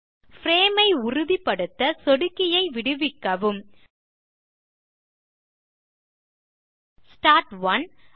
frame ஐ உறுதிப்படுத்த சொடுக்கியை விடுவிக்கவும் ஸ்டார்ட் ஒனே